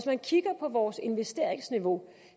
man kigger på vores investeringsniveau